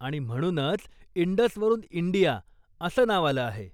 आणि म्हणूनच इंडसवरून इंडिया असं नाव आलं आहे.